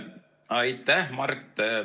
Aitäh, Mart!